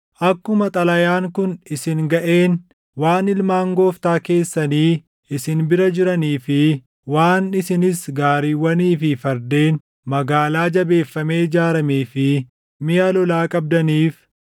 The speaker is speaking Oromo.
“Akkuma xalayaan kun isin gaʼeen, waan ilmaan gooftaa keessanii isin bira jiranii fi waan isinis gaariiwwanii fi fardeen, magaalaa jabeeffamee ijaaramee fi miʼa lolaa qabdaniif,